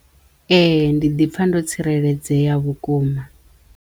Ee! Ndi ḓipfha ndo tsireledzeya vhukuma.